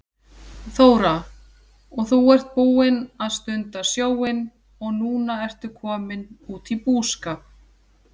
Þóra: Og þú ert búinn að stunda sjóinn og núna ertu kominn út í búskap?